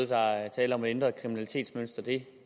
der er tale om et ændret kriminalitetsmønster det